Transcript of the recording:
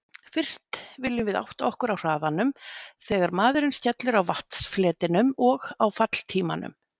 Fyrst viljum við átta okkur á hraðanum þegar maðurinn skellur á vatnsfletinum og á falltímanum.